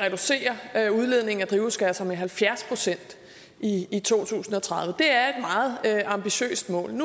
reducere udledningen af drivhusgasser med halvfjerds procent i i to tusind og tredive det er et meget ambitiøst mål